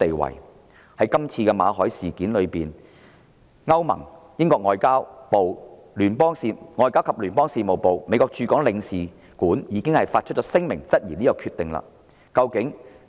馬凱的簽證續期被拒後，歐盟、英國外交及聯邦事務部及美國駐港總領事館已發出聲明質疑這項決定。